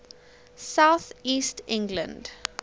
south east england